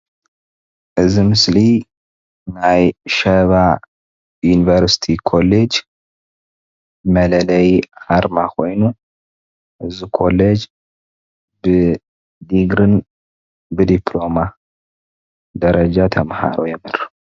እዚ ምስሊ ናይ ሽባ ዩኒቨርሲቲ ኮሌጅ መለለዪ ኣርማ ኮይኑ እዚ ኮሌጅ ብዲግርን ብዲፕሎማን ደረጃ ተምሃሮ የምህር ።